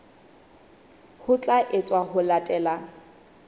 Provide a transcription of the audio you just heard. ho tla etswa ho latela